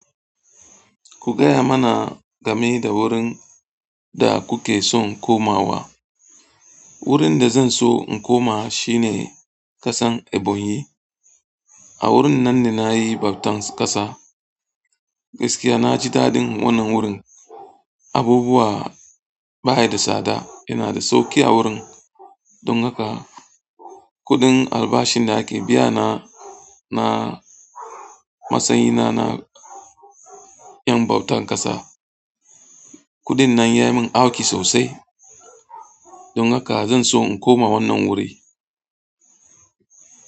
Ku gaya mana game da wurin da kuke son komawa. Wurin da zanso in koma shine kasan Ebonyi. A wurin nan ne nayi bautan ƙasa. Gaskiya naji daɗin wannan wurin. Abubuwa baya da tsada, yanada sauƙi a wurin. Don haka kuɗin albashin da ake biya na na matsayi na na ƴan bautar ƙasa, kuɗin nan yayi min auki sosai. Don haka zan so in koma wannan wuri.